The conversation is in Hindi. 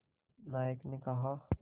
नायक ने कहा